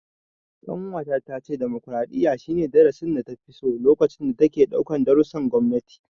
Ƙanwata ta ce demokaraɗiyya, shi ne darasin data fi so lokacin da take ɗaukan darussan gwamnati.